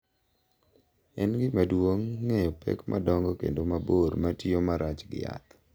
En gima duong’ ng’eyo pek madongo kendo mabor ma tiyo marach gi yath